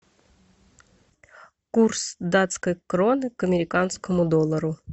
курс датской кроны к американскому доллару